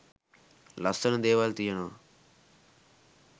ලස්සන දේවල් තියෙනව?